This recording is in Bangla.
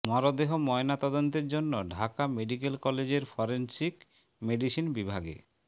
মরদেহ ময়নাতদন্তের জন্য ঢাকা মেডিকেল কলেজের ফরেনসিক মেডিসিন বিভাগে